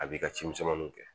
A b'i ka cimisɛnninw kɛ